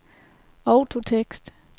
autotekst